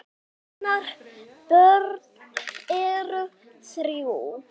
Hennar börn eru þrjú.